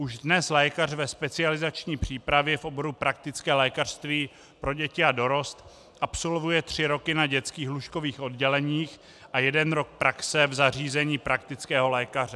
Už dnes lékař ve specializační přípravě v oboru praktické lékařství pro děti a dorost absolvuje tři roky na dětských lůžkových odděleních a jeden rok praxe v zařízení praktického lékaře.